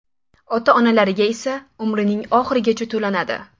Ota-onalariga esa umrining oxirigacha to‘lanadi.